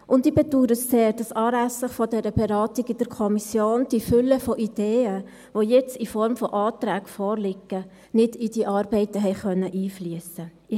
Und ich bedaure es sehr, dass anlässlich dieser Beratung in der Kommission die Fülle von Ideen, die jetzt in Form von Anträgen vorliegt, nicht in die Arbeiten einfliessen konnte.